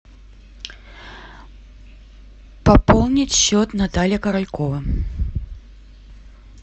пополнить счет наталья королькова